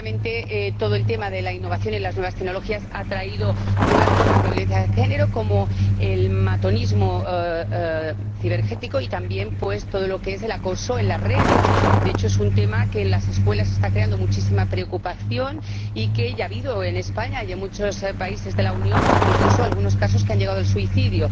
Efectivamente, todo el tema de la innovación y las nuevas tecnologías ha traído nuevas formas de violencia de género, como el matonismo cibernético, y también todo lo que es el acoso en las redes. De hecho, es un tema que en las escuelas está creando muchísima preocupación y ya habido, en España y en muchos países de la Unión, incluso algunos casos que han llegado al suicidio.